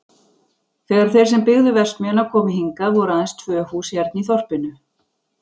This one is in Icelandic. Þegar þeir sem byggðu verksmiðjuna komu hingað voru aðeins tvö hús hérna í þorpinu.